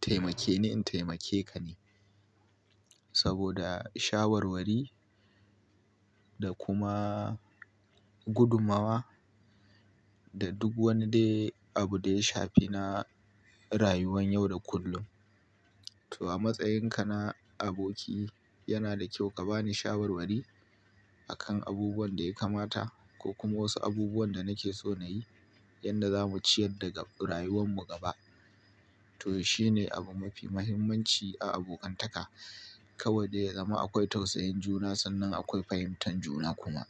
taimakeni in taimakeka ne. Saboda shawarwari da kuma gudumawa da duk wani dai abu da ya shafi na rayuwan yau da kullum. To a matsayinka na aboki, yana da kyau ka bani shawarwari a kan abubuwan da ya kamata ko kuma wasu abubuwan da nake so na yi, yadda za mu ciyar da rayuwanmu gaba. To shine abu mafi muhimmanci a abokantaka. Kawai dai ya zama akwai tausayin juna sannan akwai fahimtar juna kuma.